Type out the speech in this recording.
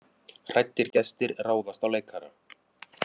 Hræddir gestir ráðast á leikara